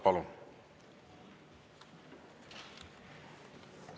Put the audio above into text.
Palun!